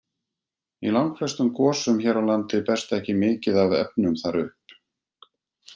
Í langflestum gosum hér á landi berst ekki mikið af efnum þar upp.